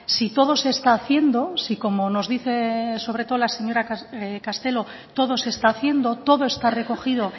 si todo se está haciendo si como nos dice sobre todo la señora castelo todo se está haciendo todo está recogido